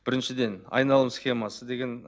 біріншіден айналым схемасы деген